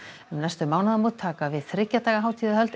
um næstu mánaðamót taka við þriggja daga hátíðahöld